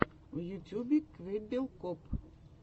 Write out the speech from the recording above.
в ютьюбе квеббел коп